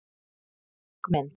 Dökk mynd